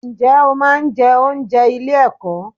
Ǹjẹ́ o máa ń jẹ oúnjẹ ilé ẹ̀kọ́?